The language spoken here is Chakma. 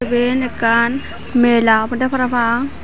eben ekkan mela obodey parapang.